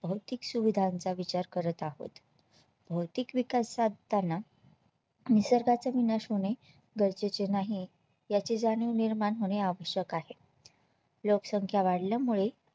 भौतिक सुविधांचा विचार करत आहोत भौतिक विकास साधताना निसर्गाचा विनाश होणे गरजेचे नाही याची जाणीव निर्माण होणे आवश्यक आहे लोकसंख्या वाढल्या मुळे